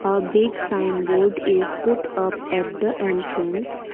a big signboard is put up at the entrance.